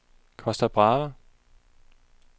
Costa Brava